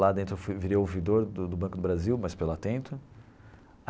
Lá dentro eu fui virei ouvidor do do Banco do Brasil, mas pela Atento.